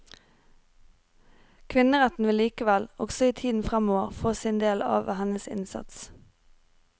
Kvinneretten vil likevel, også i tiden fremover, få sin del av hennes innsats.